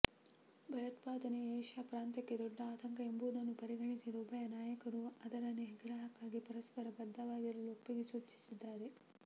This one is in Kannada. ಭಯೋತ್ಪಾದನೆ ಏಷ್ಯಾ ಪ್ರಾಂತ್ಯಕ್ಕೆ ದೊಡ್ಡ ಆತಂಕ ಎಂಬುದನ್ನು ಪರಿಗಣಿಸಿದ ಉಭಯ ನಾಯಕರು ಅದರ ನಿಗ್ರಹಕ್ಕಾಗಿ ಪರಸ್ಪರ ಬದ್ಧವಾಗಿರಲು ಒಪ್ಪಿಗೆ ಸೂಚಿಸಿದ್ದಾರೆ